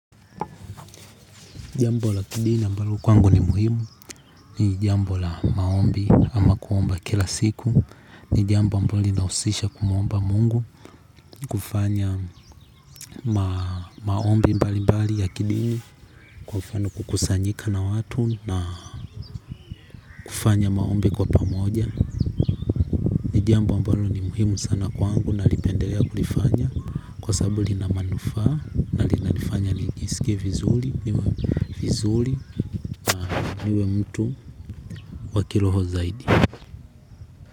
Jambo la kidini mbalo kwangu ni muhimu. Ni jambo la maombi ama kuomba kila siku. Ni jamboambalo lina husisha kumuomba Mungu. Kufanya maombi mbali mbali ya kidini. Kwa mfano kukusanyika kwa watu na kufanya maombi kwa pamoja ni jambo ambalo ni muhimu sana kwangu. Nalipendelea kulifanya. Kwa sababu lina manufaa. Linanifanya nijisikie vizuri niwe vizuri na niwe mtu wa kiroho zaidi.